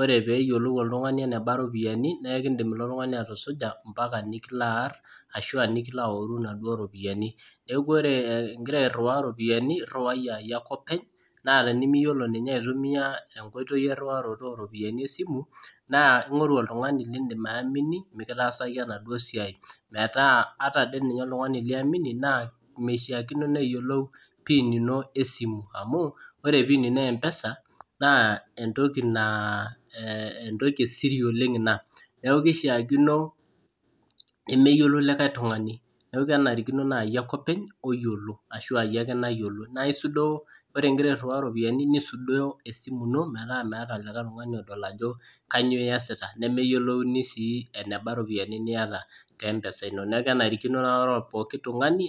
ore peeyiolou oltungani eneba ropiyiani .naa ekidim oltungani atusuja mpaka nikilo aar. mpaka nikilo aoru inaduoo ropiyiani. neeeku ore igira airiwaa iropiyiani oriwai aa iyie ake openy naa tenimiyiolo ninye aitumia enkoitoi enkiriwarotoo oo ropiyiani esimu naa, ingoru oltungani losim ayamini. mikitaasaki, enaduoo siai metaa ataa oltungani liamini. naa mishaakino neyiolou pin ino, esimu Amu ore pin ino mpesa naa entoki naa entoki esiri oleng Ina. neeki keishaakino nemeyiolou likae tungani neeku kenarikino naaji, iyie ake openy oyiolo ashu aa. Iyie ake openy mayiolo. naa isudoo ore igira airiwaa iropiyiani, nisudoo esimu ino metaa oltungani odol ajo kainyioo iyasita. nemeyiolo sii eneba ropiyiani niata te mpesa ino. neeku kenarikino naa ore pooki tungani.